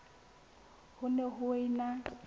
ha ho ne ho ena